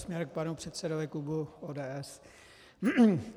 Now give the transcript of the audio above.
Směrem k panu předsedovi klubu ODS.